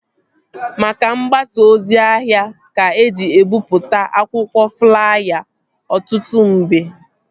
Maka mgbasa ozi ahịa ka eji ebipụta akwụkwọ flaya ọtụtụ mgbe